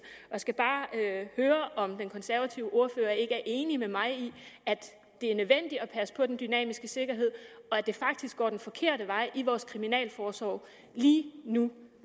jeg skal bare høre om den konservative ordfører ikke er enig med mig i at det er nødvendigt at passe på den dynamiske sikkerhed og at det faktisk går den forkerte vej i vores kriminalforsorg lige nu